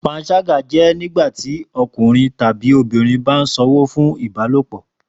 Panṣaga jẹ nigbati ọkunrin tabi obinrin ba sanwo fun ibalopo